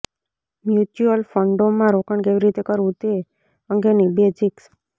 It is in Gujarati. મ્યુચ્યુઅલ ફંડોમાં રોકાણ કેવી રીતે કરવું તે અંગેની બેઝિક્સ